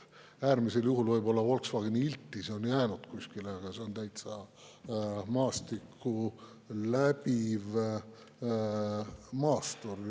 Äärmisel juhul võib-olla Volkswagen Iltis on jäänud kuskile, aga see on täitsa maastikku läbiv maastur.